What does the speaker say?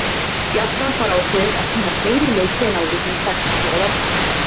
Jafnframt var ákveðið að sýna fleiri leiki en áður hefur þekkst hér á landi.